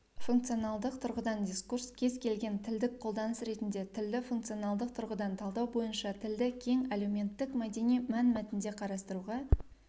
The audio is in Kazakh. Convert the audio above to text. функционалдық тұрғыдан дискурс кез-келген тілдік қолданыс ретінде тілді функционалдық тұрғыдан талдау бойынша тілді кең әлеуметтік-мәдени мәнмәтінде қарастыруға